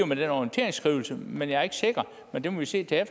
med den orienteringsskrivelse men jeg er ikke sikker og det må vi se til